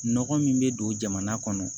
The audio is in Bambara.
Nɔgɔ min bɛ don jamana kɔnɔ